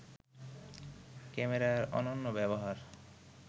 ক্যামেরার অনন্য ব্যবহার